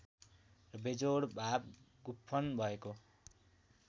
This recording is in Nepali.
र बेजोड भाव गुम्फन भएको